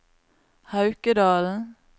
Haukedalen